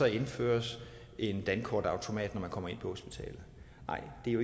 indføres en dankortautomat når man kommer ind på hospitalet nej det er